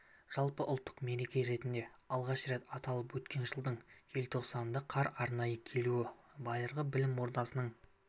жалпыұлттық мереке ретінде алғаш рет аталып өткен жылдың желтоқсанында қар арнайы келуі байырғы білім ордасының